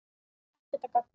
Ekkert að gagni.